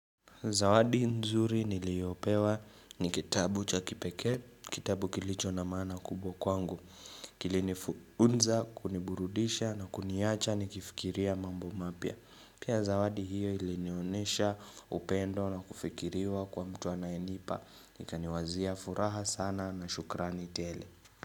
Zawadi nzuri niliyopewa ni kitabu cha kipekee, kitabu kilicho na maana kubwa kwangu, kilinifunza, kuniburudisha na kuniacha nikifikiria mambo mapya. Pia zawadi hiyo ilinionesha upendo na kufikiriwa kwa mtu anayenipa, ikaniwazia furaha sana na shukrani tele.